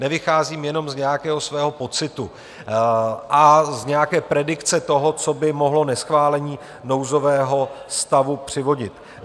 Nevycházím jenom z nějakého svého pocitu a z nějaké predikce toho, co by mohlo neschválení nouzového stavu přivodit.